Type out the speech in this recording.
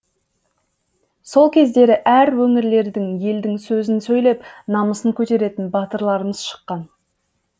сол кездері әр өңірлерден елдің сөзін сөйлеп намысын көтеретін батырларымыз шыққан